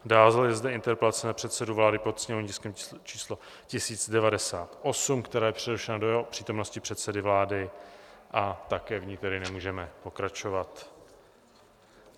Dále je zde interpelace na předsedu vlády pod sněmovním tiskem číslo 1098, která je přerušena do přítomnosti předsedy vlády, a také v ní tedy nemůžeme pokračovat.